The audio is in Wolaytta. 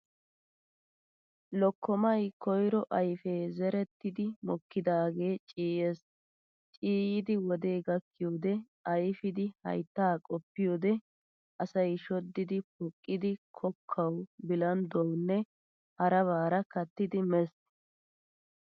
Lokkomay koyiro ayfe zerettidi mokkidaagee ciiyyees. Ciiyyidi wodee gakkiyoodee ayfidi hayttaa qopiyoodee asay shoddidi poqqidi kokkawu, bilandduwawunne harabara kattidi mees.